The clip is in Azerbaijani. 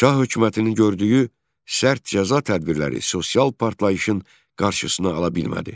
Şah hökumətinin gördüyü sərt cəza tədbirləri sosial partlayışın qarşısına ala bilmədi.